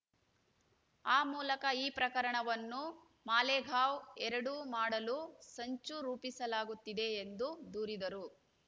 ಆ ಮೂಲಕ ಈ ಪ್ರಕರಣವನ್ನು ಮಾಲೆಗಾವ್‌ ಎರಡು ಮಾಡಲು ಸಂಚು ರೂಪಿಸಲಾಗುತ್ತಿದೆ ಎಂದು ದೂರಿದರು